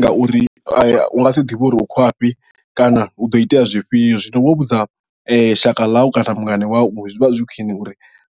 Ngauri u nga si ḓivhe uri u khou ya fhi kana hu ḓo itea zwifhio zwino wo vhudza shaka ḽau kana mungana wau zwi vha zwi khwine uri